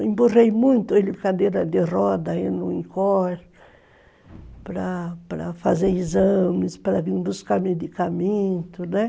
Emburrei muito ele em cadeira de rodas, aí, para fazer exames, para vir buscar medicamento, né?